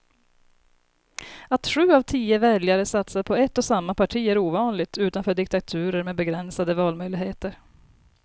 Att sju av tio väljare satsar på ett och samma parti är ovanligt utanför diktaturer med begränsade valmöjligheter.